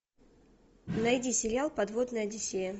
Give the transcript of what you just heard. найди сериал подводная одиссея